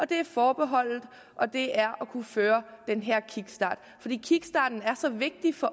det er forbeholdet og det er at kunne udføre den her kickstart kickstarten er så vigtig for